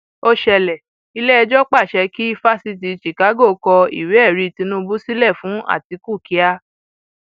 ó ṣẹlẹ iléẹjọ pàṣẹ kí fásitì chicago kọ ìwéẹrí tinubu sílẹ fún àtiku kíà